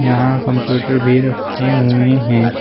यहां कंप्यूटर भी रखे हुए हैं।